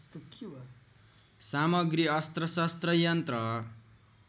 सामग्री अस्त्रशस्त्र यन्त्र